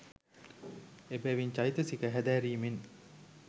එබැවින් චෛතසික හැදෑරීමෙන්